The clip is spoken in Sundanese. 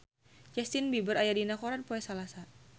Justin Beiber aya dina koran poe Salasa